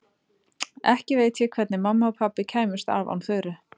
Ekki veit ég hvernig mamma og pabbi kæmust af án Þuru.